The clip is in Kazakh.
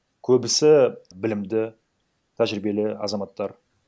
көбісі білімді тәжіребиелі азаматтар